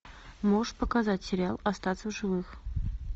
можешь показать сериал остаться в живых